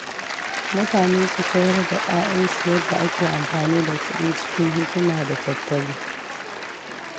Mutane su koyar da ‘ya’yansu yadda ake amfani da kuɗi cikin hikima da tattali.